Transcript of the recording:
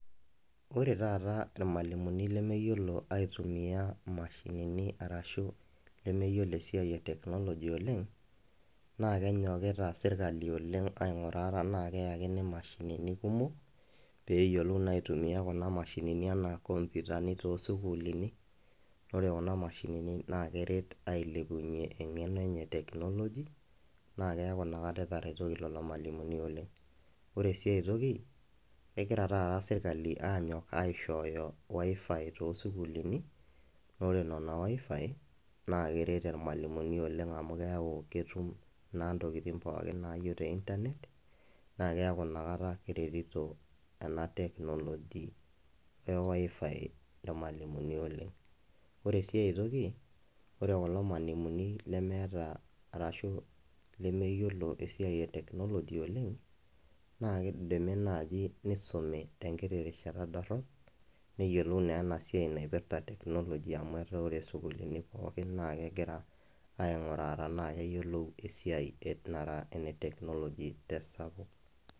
ore tataa irmalimuni lemeyiolo aitumia imishinini arashu lemeyiolo esiai ee technology oleng` naa kenyokita serikali oleng` aing`uraa tenaa keyakini imashinini kumok peeyiolou naa aitumia kuna mashinini enaa in computer ni too sukulini oree kuna mashinini naa keret ailepunye eng`eno enye ee technology naa keaku inakata etaretoki kulo malimuni oleng` oree sii aitoki kegira taata serkali aanyok aishooyo wifi too sukuliini ore nenaa wifi naa keret irmalimuni oleng` naa amu keaku ketum intokiting` pookin naayieu te internet naa keaku ina kata keretito ena techhnology ee wifi imalimuni oleng` oree sii aitoki ore kulo malimuni nemeata arashu lemeyiolo esiai ee technology oleng` naa keidimi naaji neisumi tenkiti rishata ndorop neyiolou naa ena siai naipiirta teknologia amu ore too sukulini pookin naa kegira aing`uraa tena keyiolo esiai nara ene technology sapuk